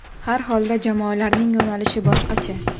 Har holda jamoalarning yo‘nalishi boshqacha.